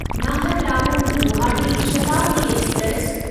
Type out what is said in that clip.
Naharlagun Guwahati Shatabdi express